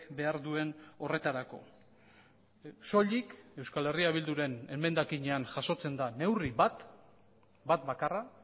behar duen horretarako soilik euskal herria bilduren emendakinean jasotzen da neurri bat bat bakarra